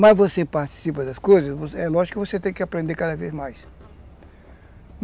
Mas você participa das coisas, é lógico que você tem que aprender cada vez mais.